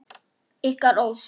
Ykkar Ósk.